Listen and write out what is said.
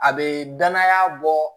A bɛ danaya bɔ